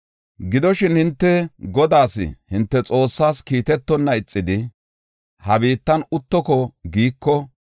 “Gidoshin, hinte Godaas, hinte Xoossaas kiitetonna ixidi, ha biittan uttoko giiko,